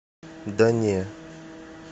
да не